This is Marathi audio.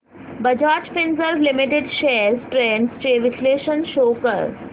Bajaj Finserv limited shares trends चे विश्लेषण शो कर